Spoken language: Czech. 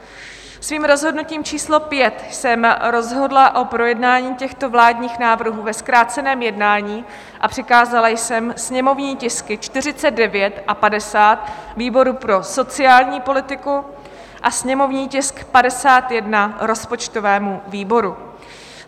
Svým rozhodnutím číslo 5 jsem rozhodla o projednání těchto vládních návrhů ve zkráceném jednání a přikázala jsem sněmovní tisky 49 a 50 výboru pro sociální politiku a sněmovní tisk 51 rozpočtovému výboru.